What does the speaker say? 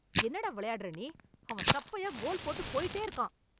என்ன டா விளையாடுற நீ! அவன் சப்பையா கோல் போட்டுப் போயிட்டே இருக்கான்.